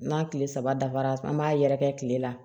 N'a tile saba dafara an b'a yɛrɛkɛ tile la